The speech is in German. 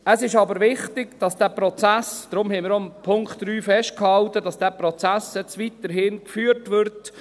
Es ist jedoch wichtig, dass dieser Prozess mit den Gemeinden weitergeführt wird.